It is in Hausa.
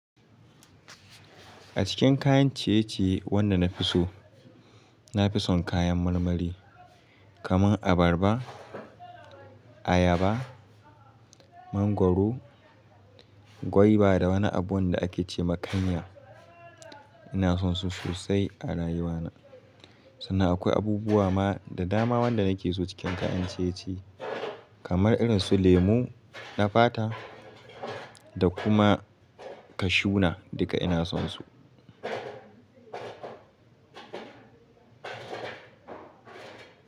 A cikin kayan ciye-ciye wanda na fi so, na fi son kayan marmari kamar abarba, ayaba, mangwaro, gwaiba da wani abu da ake ce makanya. Ina son su sosai a rayuwa na. Sannan akwai abubuwa ma da dama wanda na ke so cikin kayan ciye-ciye kamar irin su lemu, nafata da kuma kashuna duka ina son su.: